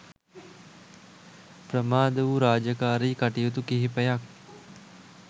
ප්‍රමාද වූ රාජකාරි කටයුතු කිහිපයක්